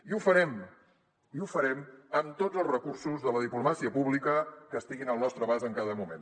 i ho farem i ho farem amb tots els recursos de la diplomàcia pública que estiguin al nostre abast en cada moment